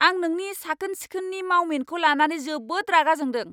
आं नोंनि साखोन सिखोननि मावमिनखौ लानानै जोबोद रागा जोंदों।